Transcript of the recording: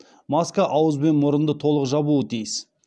маска ауыз бен мұрынды толық жабуы тиіс